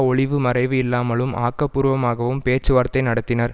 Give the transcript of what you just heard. ஒளிவு மறைவு இல்லாமலும் ஆக்கப்பூர்வமாகவும் பேச்சுவார்த்தை நடத்தினர்